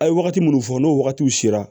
A' ye wagati mun fɔ n'o wagatiw sera